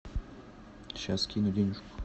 сейчас скину денежку